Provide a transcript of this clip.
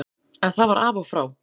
En það var af og frá.